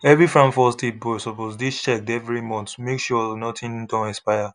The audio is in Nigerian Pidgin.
every farm first aid box suppose dey checked every month make sure nothing don expire